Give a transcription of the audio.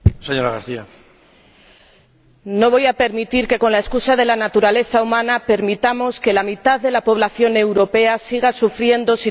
No voy a permitir que, con la excusa de la naturaleza humana, permitamos que la mitad de la población europea siga sufriendo una situación de desigualdad de oportunidades.